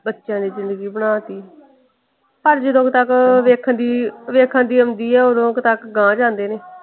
ਬੱਚਿਆਂ ਦੀ ਜ਼ਿੰਦਗੀ ਬਣਾ ਤੀ। ਪਰ ਜਦੋਂ ਕੁ ਤਕ ਵੇਖਣ ਵੇਖਣ ਦੀ ਆਉਂਦੀ ਓਦੋਂ ਕੁ ਤੱਕ ਗਾਂਹ ਜਾਂਦੇ ਨੇ।